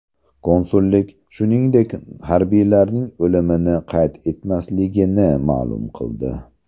Konsullik, shuningdek, harbiylarning o‘limini qayd etmasligini ma’lum qildi.